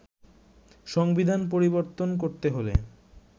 সংবিধান পরিবর্তন করতে হলে